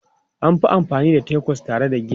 An fi amfani da Tacos tare da giya.